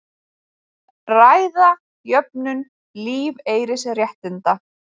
Ræða jöfnun lífeyrisréttinda